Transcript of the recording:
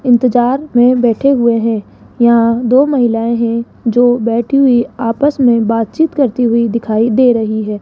इंतजार में बैठे हुए हैं यहां दो महिलाएं हैं जो बैठी हुई आपस में बातचीत करती हुईं दिखाई दे रही हैं।